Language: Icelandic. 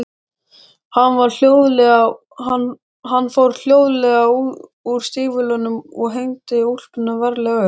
Hann fór hljóðlega úr stígvélunum og hengdi úlpuna varlega upp.